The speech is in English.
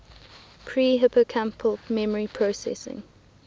pre hippocampal memory processing